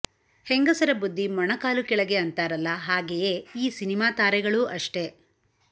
ಹೆಂಗಸರ ಬುದ್ಧಿ ಮೊಣಕಾಲು ಕೆಳಗೆ ಅಂತಾರಲ್ಲ ಹಾಗೆಯೇ ಈ ಸಿನಿಮಾ ತಾರೆಗಳೂ ಅಷ್ಟೆ